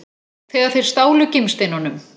Þegar þeir stálu gimsteinunum?